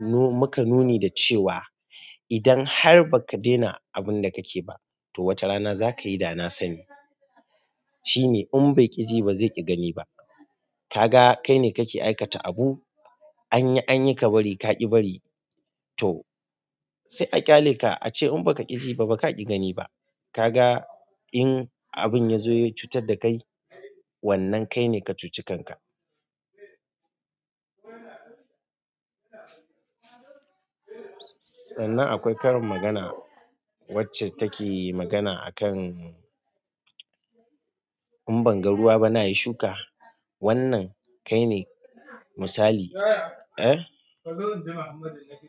mu-muka nuni da cewa idan har ba ka daina abin da kake ba, to wata rana za ka yi dana sani. Shine "In bai ƙi ji, ba zai ƙi gani ba". Kaga kai ne kake aikata abu, an yi, an yi ka bari, ka ƙi bari to sai a ƙyale ka a ce in ba ka ƙi ji ba baka ƙi gani ba. Kaga in abin ya zo ya cutar da kai, wannan kai ne ka cuci kanka. Sannan akwai karin magana wacce take magana akan "In ban ga ruwa ba na yi shuka?", wannan kai ne misali. Eh.